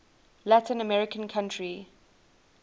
latin american country